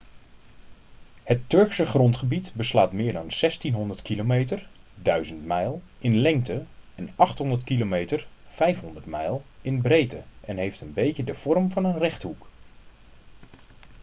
het turkse grondgebied beslaat meer dan 1.600 km 1.000 mijl in lengte en 800 km 500 mijl in breedte en heeft een beetje de vorm van een rechthoek